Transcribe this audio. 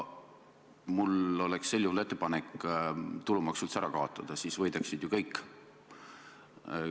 Mul oleks sel juhul ettepanek tulumaks üldse ära kaotada, siis võidaksid ju kõik.